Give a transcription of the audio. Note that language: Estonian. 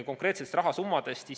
Konkreetsetest rahasummadest.